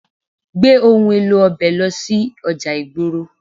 Gbé òhun èlò ọbẹ̀ lọ sí ọjà ìgboro.